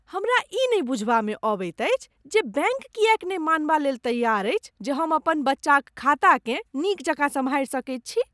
हमरा ई नहि बुझबामे अबैत अछि जे बैंक किएक ने मानबालेल तैआर अछि जे हम अपन बच्चाक खाताकेँ नीक जकाँ सम्हारि सकैत छी।